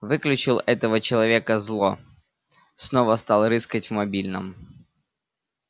выключил этого человека зло снова стал рыскать в мобильном